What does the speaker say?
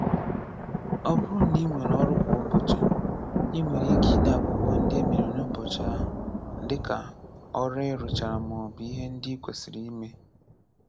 Ọ bụrụ na i nwere ọrụ kwa ụbọchị, i nwere ike ide akwụkwọ ndị e mere n'ụbọchị ahụ, dika ọrụ I rụchara ma ọ bụ ihe ndị ikwesiri ime.